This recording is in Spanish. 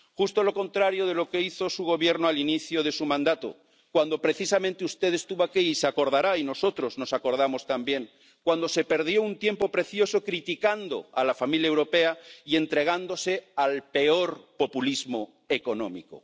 Justo lo contrario de lo que hizo su Gobierno al inicio de su mandato, cuando precisamente usted estuvo aquí —se acordará y nosotros nos acordamos también—, cuando se perdió un tiempo precioso criticando a la familia europea y entregándose al peor populismo económico.